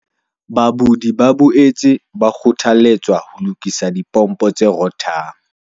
Badudi ba boetse ba kgothaletswa ho lokisa dipompo tse rothang.